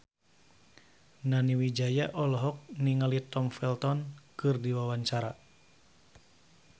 Nani Wijaya olohok ningali Tom Felton keur diwawancara